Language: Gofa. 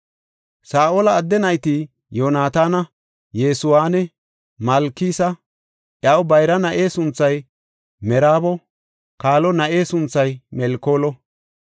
Saa7ola adde nayti Yoonataana, Yesuwanne Malkisa; iyaw bayra na7e sunthay Meraabo; kaalo na7e sunthay Melkoolo.